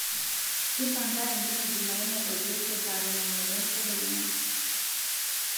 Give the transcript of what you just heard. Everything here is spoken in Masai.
impanga entumo jumaine o jesse saa tomon o obo tedekenya